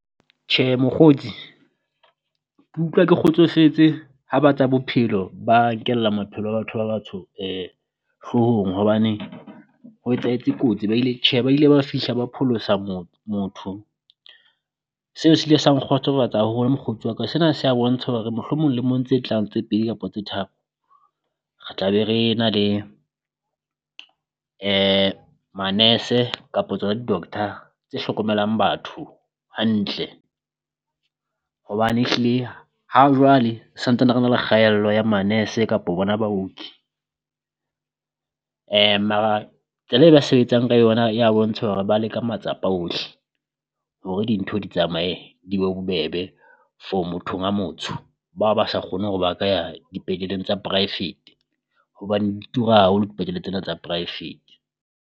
Tjhe mokgotsi kutlwa ke kgotsofetse ha ba tsa bophelo ba nkela maphelo a batho ba batsho hloohong, hobane ho etsahetse kotsi ba ile tjhe ba ile ba fihla ba pholosa motho. Seo se ile sa nkgotsofatsa haholo mokgotsi wa ka sena se ya bontsha hore mohlomong le mong tse tlang tse pedi kapo tse tharo, re tla be re na le manese kapo tsona di-doctor tse hlokomelang batho hantle. Hobane ehlile hajwale santsane re na le kgaello ya manese kapo bona baoki, mara tsela e ba sebetsang ka yona ya bontsha hore ba leka matsapa ohle hore dintho di tsamae di be bobebe for mothong a motsho, bao ba sa kgone hore ba ka dipetleleng tsa poraefete hobane di tura haholo dipetlele tsena tsa poraefete.